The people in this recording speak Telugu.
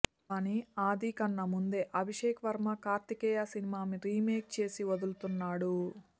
కాని ఆది కన్నా ముందే అభిషేక్ వర్మ కార్తికేయ సినిమా రీమేక్ చేసి వదులుతున్నాడు